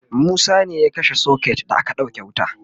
Musa ne ya kashe socket da aka sauke wuta